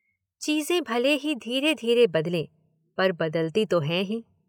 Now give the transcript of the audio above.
चीजें भले ही धीरे-धीरे बदलें पर बदलती तो हैं ही।